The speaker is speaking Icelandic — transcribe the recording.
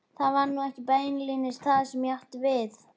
Það var nú ekki beinlínis það sem ég átti við.